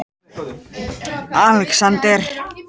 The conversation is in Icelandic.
Alexander